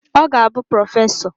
Ọ ga-abụ prọfesọ